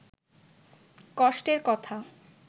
কষ্টের কথা